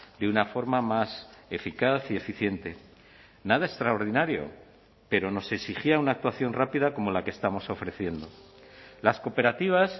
de una forma más eficaz y eficiente nada extraordinario pero nos exigía una actuación rápida como la que estamos ofreciendo las cooperativas